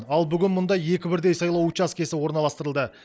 ал бүгін мұнда екі бірдей сайлау учаскесі орналастырылды